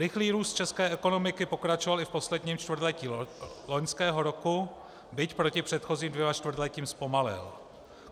Rychlý růst české ekonomiky pokračoval i v posledním čtvrtletí loňského roku, byť proti předchozím dvěma čtvrtletím zpomalil.